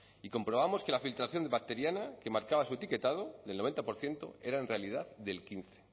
y comprobamos que la filtración bacteriana que marcaba su etiquetado del noventa por ciento era en realidad del quince